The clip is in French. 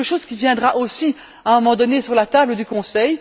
C'est quelque chose qui viendra aussi à un moment donné sur la table du Conseil.